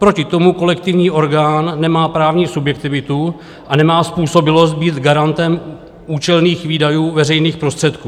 Proti tomu kolektivní orgán nemá právní subjektivitu a nemá způsobilost být garantem účelných výdajů veřejných prostředků.